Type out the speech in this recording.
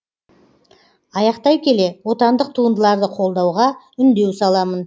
аяқтай келе отандық туындыларды қолдауға үндеу саламын